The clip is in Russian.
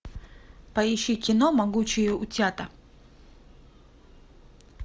поищи кино могучие утята